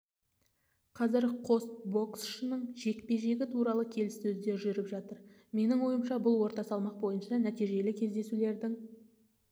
қазір қос боксшының жекпе-жегі туралы келіссөздер жүріп жатыр менің ойымша бұл орта салмақ бойынша нәтижелі кездесулердің